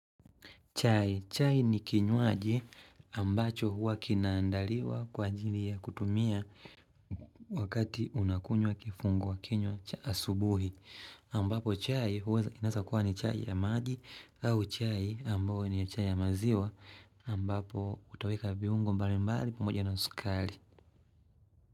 Chai. Chai ni kinywaji ambacho huwa kinaandaliwa kwa ajili ya kutumia wakati unakunywa kifungua kinywa cha asubuhi. Ambapo chai huwa inaesa kuwa ni chai ya maji au chai ambayo ni chai ya maziwa ambapo utaweka viungombali mbali pamoja na sukali.